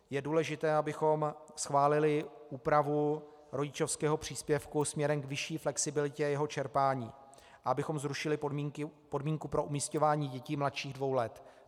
Je důležité, abychom schválili úpravu rodičovského příspěvku směrem k vyšší flexibilitě jeho čerpání, abychom zrušili podmínku pro umisťování dětí mladších dvou let.